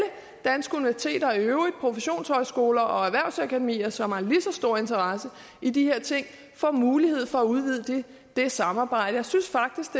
danske universiteter og i øvrigt professionshøjskoler og erhvervsakademier som har lige så stor interesse i de her ting får mulighed for at udvide det samarbejde jeg synes faktisk